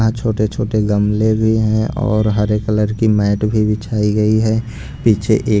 यहाँ छोटे छोटे गमले भी हैं और हरे कलर की मैट भी बिछाई गई है पीछे एक --